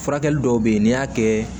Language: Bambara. Furakɛli dɔw bɛ yen n'i y'a kɛ